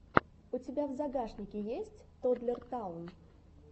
у тебя в загашнике есть тоддлер таун